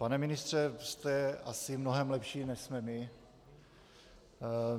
Pane ministře, jste asi mnohem lepší, než jsme my.